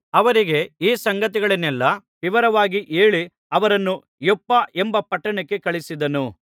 ಅವರಿಗೆ ಈ ಸಂಗತಿಗಳನ್ನೆಲ್ಲಾ ವಿವರವಾಗಿ ಹೇಳಿ ಅವರನ್ನು ಯೊಪ್ಪ ಎಂಬ ಪಟ್ಟಣಕ್ಕೆ ಕಳುಹಿಸಿದನು